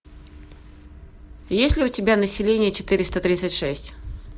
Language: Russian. есть ли у тебя население четыреста тридцать шесть